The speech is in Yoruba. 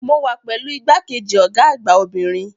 Mo wà pẹ̀lú igbákejì Ọ̀gá àgbà obìnrin